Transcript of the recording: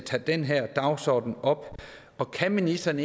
tager den her dagsorden op og kan ministeren